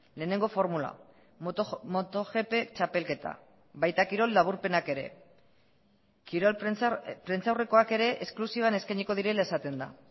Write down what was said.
lehenengo formula moto gp txapelketa baita kirol laburpenak ere kirol prentsa aurrekoak ere esklusiban eskainiko direla esaten da